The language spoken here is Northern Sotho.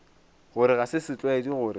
gore ga se setlwaedi gore